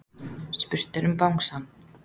Spurt er um bangsann.